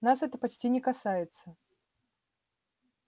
нас это почти не касается